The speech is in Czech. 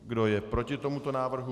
Kdo je proti tomuto návrhu?